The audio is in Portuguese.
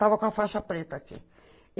Estava com a faixa preta aqui.